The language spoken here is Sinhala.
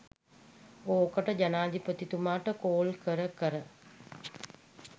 ඕකට ජනාධිපතිතුමාට කෝල් කර කර